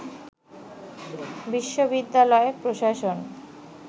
বিশ্ববিদ্যালয় প্রশাসন